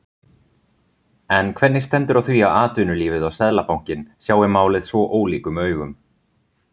En hvernig stendur á því að atvinnulífið og Seðlabankinn sjái málið svo ólíkum augum?